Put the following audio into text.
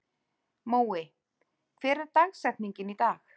Mói, hver er dagsetningin í dag?